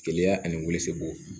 Jeliya ani wolosɛbɛn